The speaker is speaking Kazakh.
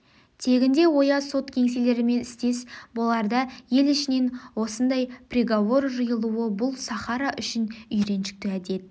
тегінде ояз сот кеңселерімен істес боларда ел ішінен осындай приговор жиылуы бұл сахара үшін үйреншікті әдет